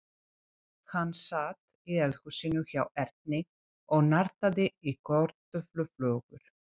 Hann sat í eldhúsinu hjá Erni og nartaði í kartöfluflögur.